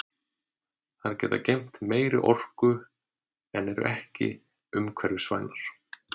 Þær geta geymt meiri orku en eru ekki umhverfisvænar.